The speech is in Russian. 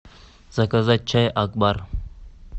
заказать чай акбар